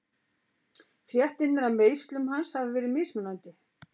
Fréttirnar af meiðslum hans hafa verið mismunandi.